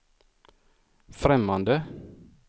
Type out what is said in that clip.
främmande